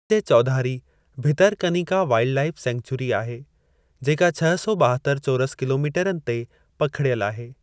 ते चौधारी Bhitarkanika wildlife sanctuary आहे, जेका छह सौ ॿाहत्तर चौरस किलोमीटरनि ते पखिड़ियल आहे।